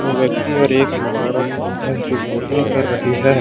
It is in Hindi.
दो व्यक्ति और एक औरत भी हैजो बोटिंग कर रही है।